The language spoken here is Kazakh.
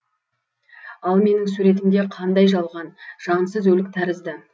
ал менің суретімде қандай жалған жансыз өлік тәрізді